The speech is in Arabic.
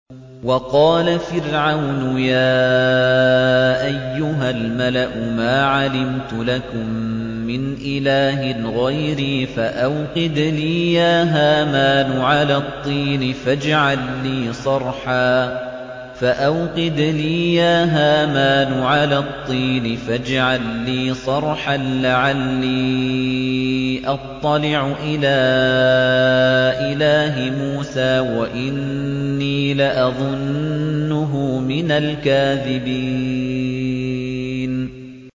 وَقَالَ فِرْعَوْنُ يَا أَيُّهَا الْمَلَأُ مَا عَلِمْتُ لَكُم مِّنْ إِلَٰهٍ غَيْرِي فَأَوْقِدْ لِي يَا هَامَانُ عَلَى الطِّينِ فَاجْعَل لِّي صَرْحًا لَّعَلِّي أَطَّلِعُ إِلَىٰ إِلَٰهِ مُوسَىٰ وَإِنِّي لَأَظُنُّهُ مِنَ الْكَاذِبِينَ